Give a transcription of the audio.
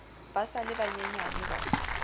ba sa le banyenyane ba